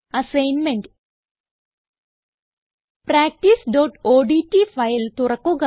assignment practiceഓഡ്റ്റ് file തുറക്കുക